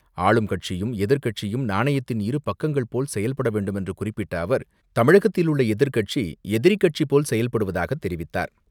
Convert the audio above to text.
ஆளும் கட்சியும் எதிர்க்கட்சியும் நாணயத்தின் இரு பக்கங்கள் போல் வேண்டுமென்று குறிப்பிட்ட அவர் தமிழகத்தில் உள்ள எதிர் கட்சி எதிரி கட்சிபோல் செயல்படுவதாக தெரிவித்தார்.